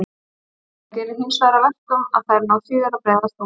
Það gerir hinsvegar að verkum að þær ná síður að breiðast út.